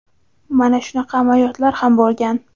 mana shunaqa amaliyotlar ham bo‘lgan.